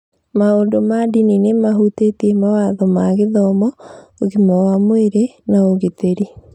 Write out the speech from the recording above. Maũndũ ma ndini nĩ mahutĩtie mawatho ma gĩthomo, ũgima wa mwĩrĩ, na ũgitĩri.